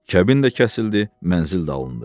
Kəbin də kəsildi, mənzil də alındı.